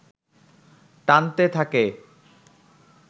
টানতে থাকে